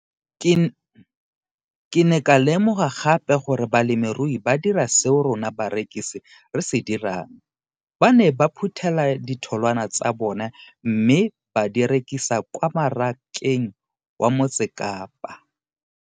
Ke ne ka lemoga gape gore balemirui ba dira seo rona barekisi re se dirang, ba ne ba phuthela ditholwana tsa bona mme ba di rekisa kwa marakeng wa Motsekapa.